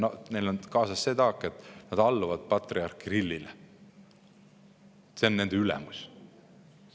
Aga neil on kaasas see taak, et nad alluvad patriarh Kirillile, tema on nende ülemus.